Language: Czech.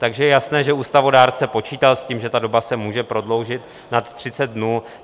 Takže je jasné, že ústavodárce počítal s tím, že ta doba se může prodloužit nad 30 dnů.